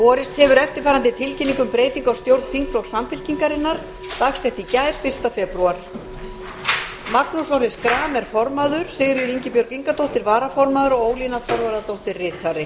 borist hefur eftirfarandi tilkynning um breytingu á stjórn þingflokks samfylkingarinnar dagsett í gær fyrsta febrúar formaður magnús orri schram varaformaður sigríður ingibjörg ingadóttir ritari ólína þorvarðardóttir